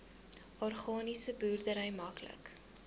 organiese boerdery maklik